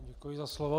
Děkuji za slovo.